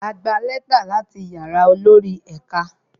A gba lẹ́tà láti yàrá olórí ẹ̀ka